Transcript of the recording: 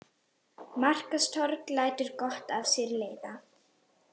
Markaðstorg lætur gott af sér leiða